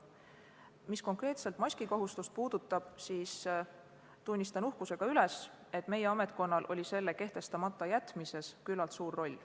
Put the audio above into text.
Mis konkreetselt maskikohustust puudutab, siis tunnistan uhkusega, et meie ametkonnal oli selle kehtestamata jätmises üsna suur roll.